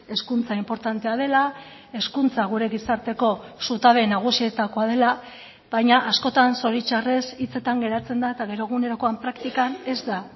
hezkuntza inportantea dela hezkuntza gure gizarteko zutabe nagusietakoa dela baina askotan zoritxarrez hitzetan geratzen da eta gero egunerokoan praktikan ez da